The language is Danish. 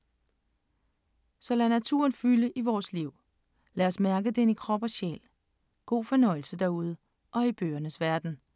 Så lad naturen fylde i vores liv. Lad os mærke den i krop og sjæl. God fornøjelse derude og i bøgernes verden.